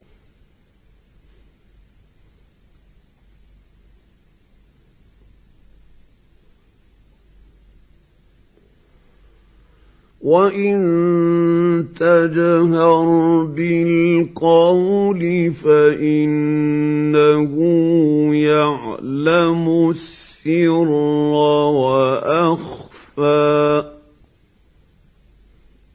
وَإِن تَجْهَرْ بِالْقَوْلِ فَإِنَّهُ يَعْلَمُ السِّرَّ وَأَخْفَى